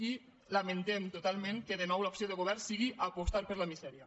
i lamentem totalment que de nou l’opció del govern sigui apostar per la misèria